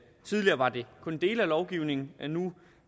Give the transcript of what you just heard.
kun dele af lovgivningen men nu